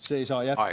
See ei saa jätkuda.